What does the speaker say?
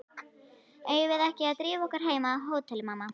Eigum við ekki að drífa okkur heim á hótel, mamma?